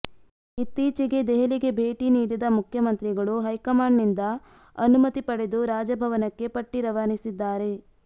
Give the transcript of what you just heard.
ಇತ್ತೀಚೆಗೆ ದೆಹಲಿಗೆ ಭೇಟಿ ನೀಡಿದ ಮುಖ್ಯಮಂತ್ರಿಗಳು ಹೈಕಮಾಂಡ್ನಿಂದ ಅನುಮತಿ ಪಡೆದು ರಾಜಭವನಕ್ಕೆ ಪಟ್ಟಿ ರವಾನಿಸಿದ್ದಾರೆ